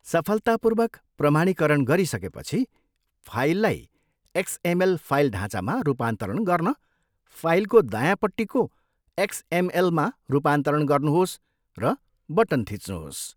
सफलतापूर्वक प्रमाणीकरण गरिसकेपछि, फाइललाई एक्सएमएल फाइल ढाँचामा रूपान्तरण गर्न फाइलको दायाँपट्टिको एक्सएमएलमा रूपान्तरण गर्नुहोस् र बटन थिच्नुहोस्।